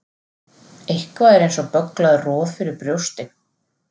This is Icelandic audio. Eitthvað er eins og bögglað roð fyrir brjósti